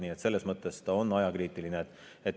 Nii et selles mõttes on see ajakriitiline.